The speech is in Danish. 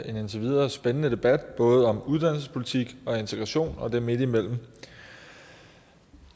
en indtil videre spændende debat både uddannelsespolitik integration og det midtimellem